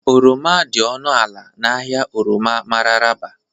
Oroma dị ọnụ ala na ahịa oroma Mararaba